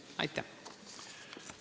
Aitäh!